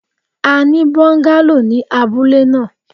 A ni bungalow ni abule naa